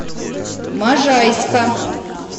можайска